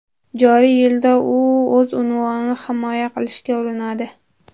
Joriy yilda u o‘z unvonini himoya qilishga urinadi.